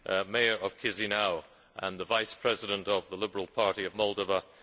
Mayor of Chişinău and the Vice President of the Liberal Party of Moldova